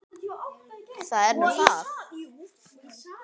Það er nú það?